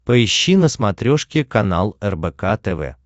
поищи на смотрешке канал рбк тв